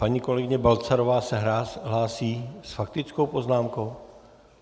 Paní kolegyně Balcarová se hlásí s faktickou poznámkou?